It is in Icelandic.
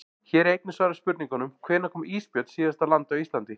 Hér er einnig svarað spurningunum: Hvenær kom ísbjörn síðast á land á Íslandi?